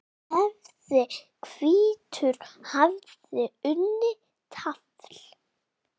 hefði hvítur haft unnið tafl.